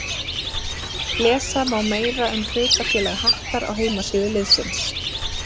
Lesa má meira um hlutafélag Hattar á heimasíðu liðsins.